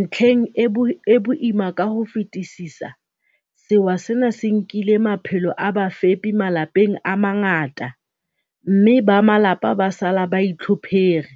Ntlheng e boima ka ho fetisisa, sewa sena se nkile maphelo a bafepi malapeng a mangata, mme ba malapa ba sala ba itlhophere,